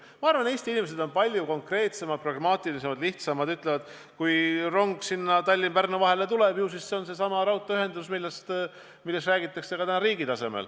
Aga ma arvan, et Eesti inimesed on palju konkreetsemad, pragmaatilisemad ja lihtsamad ning ütlevad, et kui rong sinna Tallinna ja Pärnu vahele tuleb, ju see siis on seesama raudteeühendus, millest täna ka riigi tasemel räägitakse.